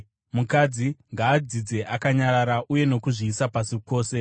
Mukadzi ngaadzidze akanyarara uye nokuzviisa pasi kwose.